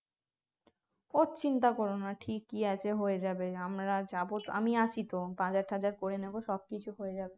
ওর চিন্তা কর না ঠিকই আছে হয়ে যাবে আমরা যাব আমি আছি তো বাজারটাজার করে নেব সবকিছু হয়ে যাবে